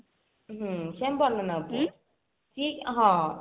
ହଁ ସେ ଆମ ବଡ ନନାଙ୍କ ପୁଅ ସିଏ ହଁ